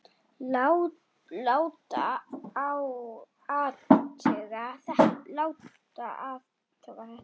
Láta athuga þetta.